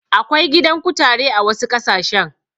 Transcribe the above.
Akwai gidan kutare a wasu ƙasashen.